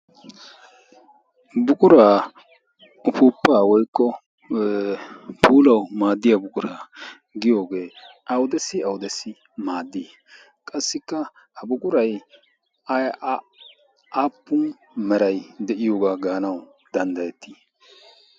buquraa ufuuppaa woykko puulawu maaddiya buquraa giyoogee audessi audessi maaddii qassikka ha buqurai aiaappun meray de'iyoogaa gaanau danddayettii?